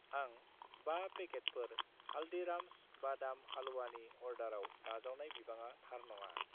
आं 5 पेकेटफोर हालदिराम्स बादाम हाल्वानि अर्डाराव नाजावनाय बिबाङा थार नङा।